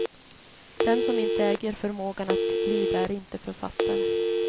Den som inte äger förmågan att lida är inte författare.